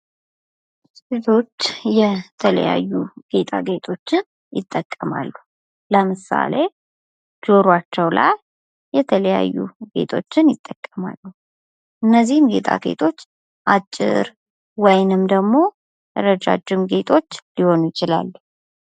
የማስጌጥ ዓይነቶች እንደየቦታውና እንደ አላማው የሚለያዩ ሲሆን የቤት ውስጥ፣ የውጭና የዝግጅት ማስጌጥ ይጠቀሳሉ።